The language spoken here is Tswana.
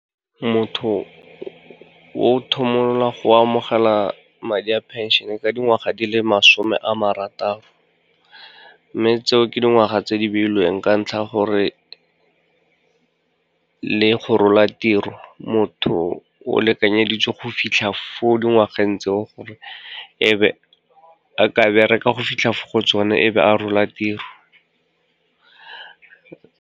Motho o go amogela madi a phenšene ka dingwaga di le masome a marataro, mme tseo ke dingwaga tse di beilweng ka ntlha ya gore le go rola tiro, motho o lekanyeditswe go fitlha fo dingwageng tseo, gore e be a ka bereka go fitlha fo go tsona ebe a rola tiro.